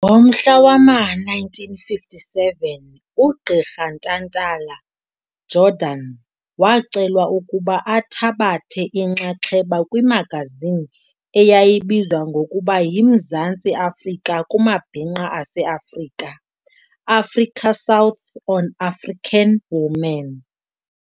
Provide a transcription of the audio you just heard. Ngomhla wama-1957 ugqirha Ntantala-Jordan wacelwa ukuba athabathe inxaxheba kwimagazini eyayibizwa ngokuba yiMzantsi Afrika kumabhinqa aseAfrika, Africa South on African women.